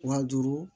Wa duuru